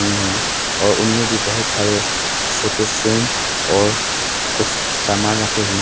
हैं और उनमें भी बहुत सारे फोटो फ्रेम्स और कुछ सामान रखे हुए--